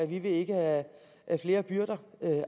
vi vil ikke have flere byrder